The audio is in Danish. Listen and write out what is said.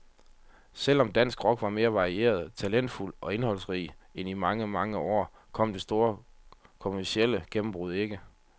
Selv om dansk rock var mere varieret, talentfuld og indholdsrig end i mange, mange år, kom det store kommercielle gennembrud ikke.